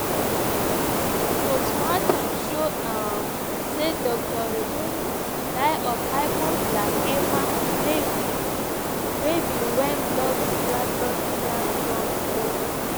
post mortem show um say dr riungu die of hypoglycaemia wey be wen blood sugar blood sugar drop below normal.